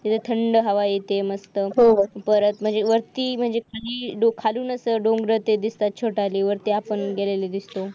थंड हवा येते मस्त हो म्हणजे खालूनच ते डोंगर दिसतात छोटाले वरती आपण गेलेले दिसतो